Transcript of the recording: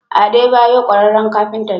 Adebayor ƙwararren kafinta ne.